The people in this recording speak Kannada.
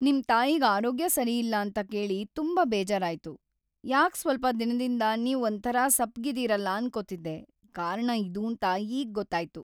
ನಿಮ್ ತಾಯಿಗ್ ಆರೋಗ್ಯ ಸರಿಯಿಲ್ಲ ಅಂತ ಕೇಳಿ ತುಂಬಾ ಬೇಜಾರಾಯ್ತು. ಯಾಕ್‌ ಸ್ವಲ್ಪ ದಿನದಿಂದ ನೀವ್ ಒಂಥರ ಸಪ್ಪಗಿದೀರಲ ಅನ್ಕೋತಿದ್ದೆ, ಕಾರಣ ಇದೂಂತ ಈಗ್‌ ಗೊತ್ತಾಯ್ತು.